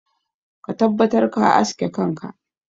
Ka tabbatar ka aske kanka!